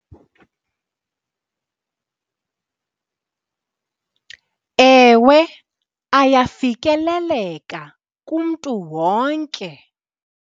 Ewe, ayafikeleleka kumntu wonke.